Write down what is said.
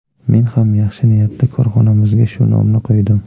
Men ham yaxshi niyatda korxonamizga shu nomni qo‘ydim.